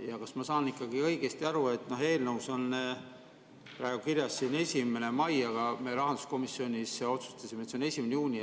Ja kas ma saan ikka õigesti aru, et eelnõus on praegu kirjas 1. mai, aga me rahanduskomisjonis otsustasime, et see on 1. juuni: